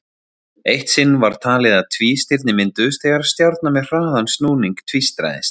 Eitt sinn var talið að tvístirni mynduðust þegar stjarna með hraðan snúning tvístraðist.